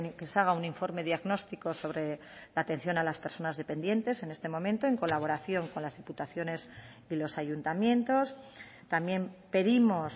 que se haga un informe diagnóstico sobre la atención a las personas dependientes en este momento en colaboración con las diputaciones y los ayuntamientos también pedimos